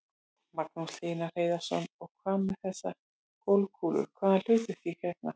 Magnús Hlynur Hreiðarsson: Og hvað með þessar golfkúlur, hvaða hlutverki gegna þær?